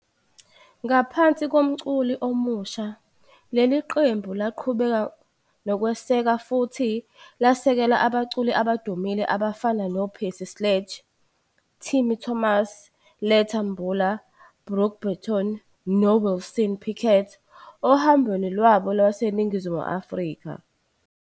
Ngaphansi komculi omusha, leli qembu laqhubeka nokweseka futhi lasekela abaculi abadumile abafana noPercy Sledge, Timmy Thomas, Letta Mbula, Brook Benton, noWilson Pickett ohambweni lwabo lwaseNingizimu Afrika.